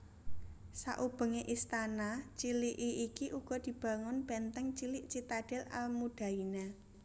Sakubengé istana ciliki iki uga dibangun bèntèng cilik citadel al Mudaina